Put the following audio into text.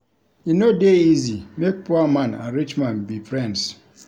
E no dey easy make poor man and rich man be friends.